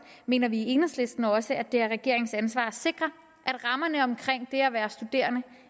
mener vi i enhedslisten også at det er regeringens ansvar at sikre at rammerne omkring det at være studerende